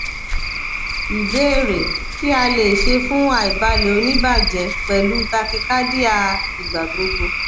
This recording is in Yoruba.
ìbéèrè kí a le ṣe fun aibalẹ onibaje pẹlu tachycardia igbagbogbo